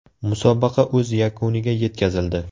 Musobaqa o‘z yakuniga yetkazildi.